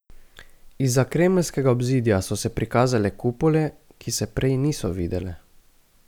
Izza kremeljskega obzidja so se prikazale kupole, ki se prej niso videle.